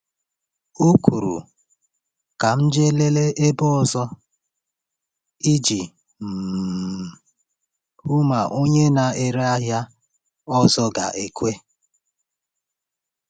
Ọ kwuru, “Ka m jee lelee ebe ọzọ,” iji um hụ ma onye na-ere ahịa ọzọ ga-ekwe.